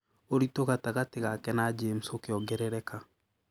ũritũ gatagatĩ gake na James ũkĩongerereka.